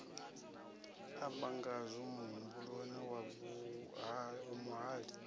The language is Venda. amba ngazwo muhumbuloni wa muvhali